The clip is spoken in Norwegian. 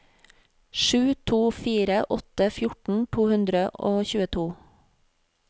sju to fire åtte fjorten to hundre og tjueto